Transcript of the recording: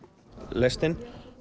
lestin